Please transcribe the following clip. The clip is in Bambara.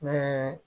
Ne ye